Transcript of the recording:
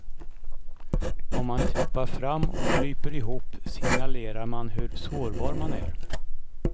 Om man trippar fram och kryper ihop signalerar man hur sårbar man är.